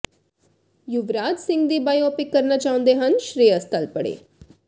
ਯੁਵਰਾਜ ਸਿੰਘ ਦੀ ਬਾਇਓਪਿਕ ਕਰਨਾ ਚਾਹੁੰਦੇ ਹਨ ਸ਼ੇ੍ਰਅਸ ਤਲਪੜੇ